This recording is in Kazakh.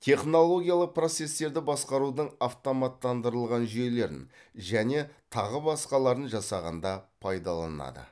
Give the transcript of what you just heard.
технологиялық процестерді басқарудың автоматтандырылған жүйелерін және тағы басқаларын жасағанда пайдаланады